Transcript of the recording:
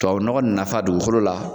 Tubabu nɔgɔ nafa dugukolo la